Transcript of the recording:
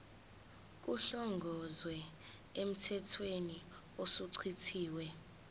kuhlongozwe emthethweni osuchithiwe